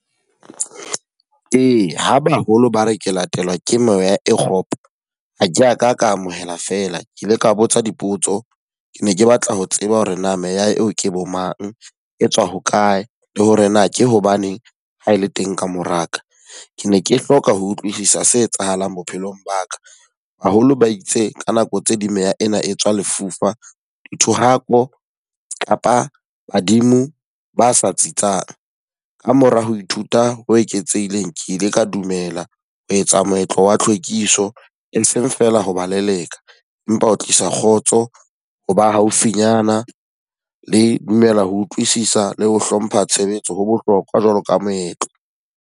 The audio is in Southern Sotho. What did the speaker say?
Eya ho baholo ba re ke latelwa ke moya e kgopo. Ha ke a ka ka amohela fela, ke ile ka botsa dipotso. Ke ne ke batla ho tseba hore na meya eo ke bo mang, e tswa hokae? Le hore na ke hobaneng ha e le teng ka mora ka? Ke ne ke hloka ho utlwisisa se etsahalang bophelong ba ka. Baholo ba itse ka nako tse ding meya ena e tswa lefufa, dithohako kapa badimo ba sa tsitsang. Ka mora ho ithuta ho eketsehileng, ke ile ka dumela ho etsa moetlo wa hlwekiso, e seng feela ho ba leleka empa ho tlisa kgotso, ho ba haufinyana, le dumela ho utlwisisa le ho hlompha tshebetso ho bohlokwa jwalo ka moetlo.